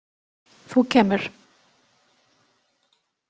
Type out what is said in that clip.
Þú kemur.